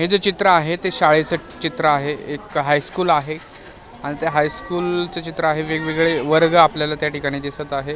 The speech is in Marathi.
हे जे चित्र आहे ते शाळेचं चित्र आहे एक हायस्कूल आहेआणि ते हायस्कूलचं चित्र आहे वेगवेगळे वर्ग आपल्याला त्या ठिकाणी दिसत आहेत.